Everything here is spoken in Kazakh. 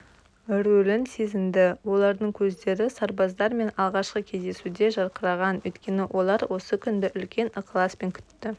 рөлін сезінді олардың көздері сарбаздармен алғашқы кездесуде жарқыраған өйткені олар осы күнді үлкен ықыласпен күтті